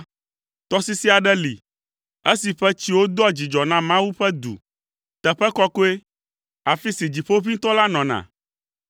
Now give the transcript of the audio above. Tɔsisi aɖe li, esi ƒe tsiwo doa dzidzɔ na Mawu ƒe du, teƒe kɔkɔe, afi si Dziƒoʋĩtɔ la nɔna.